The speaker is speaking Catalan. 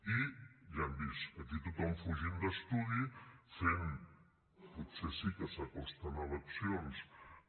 i ja ho hem vist aquí tothom fugint d’estudi fent potser sí que s’acosten eleccions electoralisme barroer